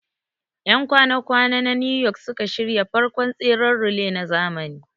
Ƴan kwana kwana na New York suka shirya farkon tseren relay na zamani